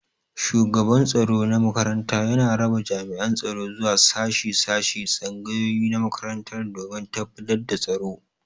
Shugaban tsaro na makaranta yana raba jami'an tsaro zuwa shashi shashi da tsangayoyi na makarantar domin tabbatar da tsaro.